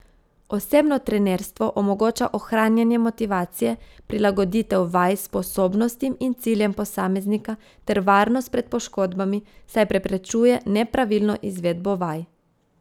Osebno trenerstvo omogoča ohranjanje motivacije, prilagoditev vaj sposobnostim in ciljem posameznika ter varnost pred poškodbami, saj preprečuje nepravilno izvedbo vaj.